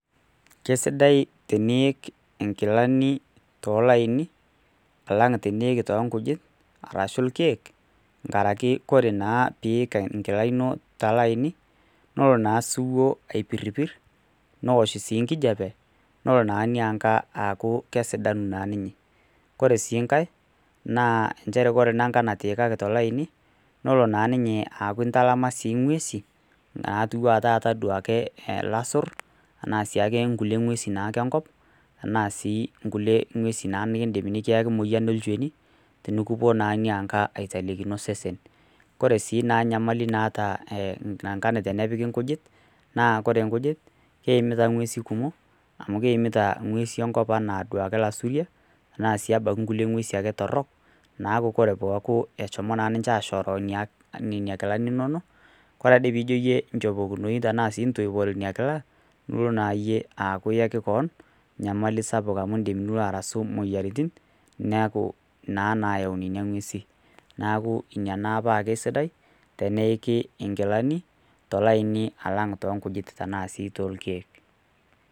Kesidai teniiki inkilani toolaini, alang' tenik too inkujit, arashu ilkeek, enkaraki ore pee iik enkila ino tolaini, nelo naa osiwu aipirpir, neosh sii enkijape, nelo naa ina kila aaku kesidanu ninye. Kore sii enkai naa ore enkila natiikaki tolaini, nelo naa ninye aaku intalama naa ing'uesi, naatu duo ake taata ilaisur, anaa naake inkulue ng'usi naake enkop, anaa sii ake inkulie ng'usi nekiaki emoyian olchoni, tenekiwuo naake aitelekino osesen. Ore sii enkai nyamali naata teneppiki inkujit, naa ore inkujit naa keimita ing'usi kumok, amu keimita duake ing'uesi enkop anaa duo ake ilaisuriak, anaasii abaiki nkulie ng'usi torok, naaku ore peaku eshomo naa ninche ashoroo nena kilani inono, kore ade ake yie tenijo inchopokinoi ana intoipore ina kila, nilo naake iyie aaku iyaki kewon enyamali sapuk amu ebaiki nilo arasu imoyiaritin, neaku naa naayau naa nena ng'usin,. Neaku ina naa peaku aisidai, teneiki inkilani, tolaini alang' toonkujit anaa sii tolkeek.